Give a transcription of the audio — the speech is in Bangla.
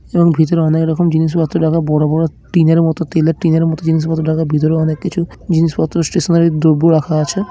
এবং ভেতরে অনেক রকম জিনিস পত্র রাখা বড়ো বড়ো টিনের মতো তেলের টিনের মতো জিনিস পত্র রাখা ভেতরে অনেক কিছু জিনিসপত্র স্টেশনারি দ্রব্য রাখা আছে।